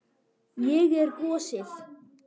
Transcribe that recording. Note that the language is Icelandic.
Ég er gosið.